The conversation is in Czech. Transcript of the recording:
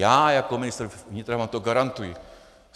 Já jako ministr vnitra vám to garantuji.